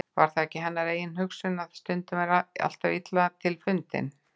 Var það ekki hennar eigin hugsun, að stundin væri alltaf illa til fundin.